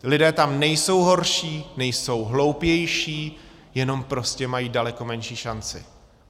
Lidé tam nejsou horší, nejsou hloupější, jenom prostě mají daleko menší šanci.